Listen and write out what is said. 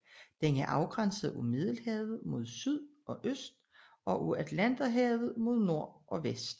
Den er afgrænset af Middelhavet mod syd og øst og af Atlanterhavet mod nord og vest